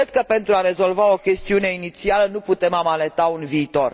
Cred că, pentru a rezolva o chestiune inițială, nu putem amaneta un viitor.